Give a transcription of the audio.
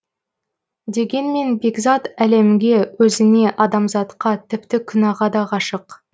дегенмен бекзат әлемге өзіне адамзатқа тіпті күнәға да ғашық